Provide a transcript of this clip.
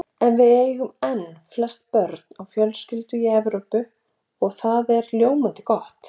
En við eigum enn flest börn á fjölskyldu í Evrópu og það er ljómandi gott.